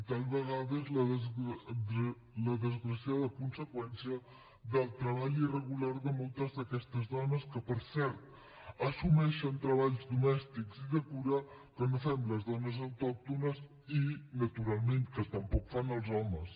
tal vegada és la desgraciada conseqüència del treball irregular de moltes d’aquestes dones que per cert assumeixen treballs domèstics i de cura que no fem les dones autòctones i que naturalment tampoc fan els homes